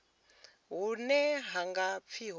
hune ha nga pfi ho